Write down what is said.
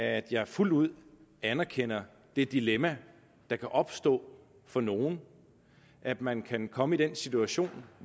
at jeg fuldt ud anerkender det dilemma der kan opstå for nogle at man kan komme i den situation